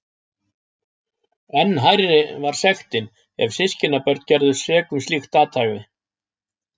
Enn hærri var sektin ef systkinabörn gerðust sek um slíkt athæfi.